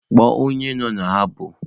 Kpọọ onye nọ na habọ!